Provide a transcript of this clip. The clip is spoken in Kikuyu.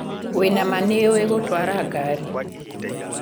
Wĩna mah nĩ uĩĩ gũtwara ngaari